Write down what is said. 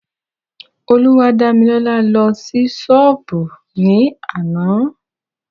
Olúwadámilọ́lá lọ sí ṣọ́pù ní àná.